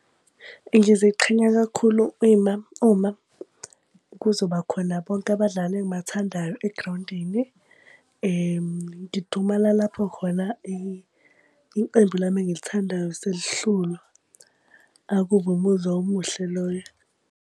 Ngiziqhenya kakhulu ima uma kuzoba khona bonke abadlali engibathandayo egrawundini. Ngidumala lapho khona iqembu lami engilithandayo selihlulwa. Akubi umuzwa omuhle loyo.